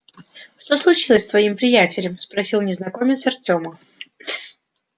что случилось с твоим приятелем спросил незнакомец артёма